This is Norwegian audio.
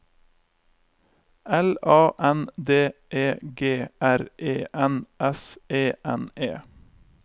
L A N D E G R E N S E N E